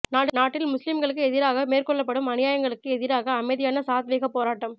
நாட்டில் முஸ்லிம்களுக்கு எதிராக மேற்கொள்ளப்படும் அநியாயங்களுக்கு எதிராக அமைதியான சாத்வீகப் போராட்டம்